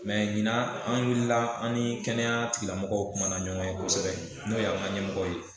ɲinan an wulila, an ni kɛnɛya tigila mɔgɔw kumana ɲɔgɔn ye kosɛbɛ n'o y' an ka ɲɛmɔgɔw ye.